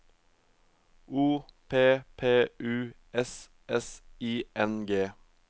O P P U S S I N G